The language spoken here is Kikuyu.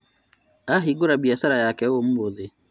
Ahingũra biacara ciake ũmũthĩ